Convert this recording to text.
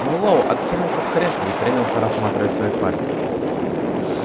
мэллоу откинулся в кресле и принялся рассматривать свои пальцы